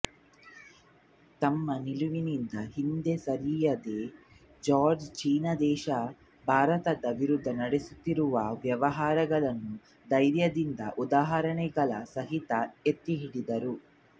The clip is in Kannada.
ತಮ್ಮ ನಿಲುವಿನಿಂದ ಹಿಂದೆ ಸರಿಯದ ಜಾರ್ಜ್ ಚೀನಾ ದೇಶ ಭಾರತದ ವಿರುದ್ಧ ನಡೆಸುತ್ತಿರುವ ವ್ಯವಹಾರಗಳನ್ನು ಧೈರ್ಯದಿಂದ ಉದಾಹರಣೆಗಳ ಸಹಿತ ಎತ್ತಿಹಿಡಿದರು